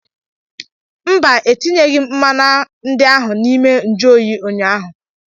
Mba, etinyeghị m mmanya ndi ahụ n'ime nju oyi ụnyaahụ.